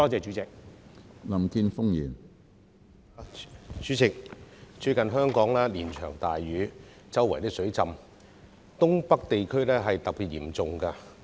主席，最近香港連場大雨，到處出現水浸，而東北地區尤其嚴重。